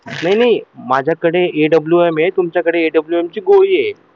नाही नाही माझ्याकडे आहे AWM आहे तुमच्याकडे AWM ची गोळी आहे आणि